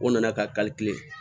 O nana ka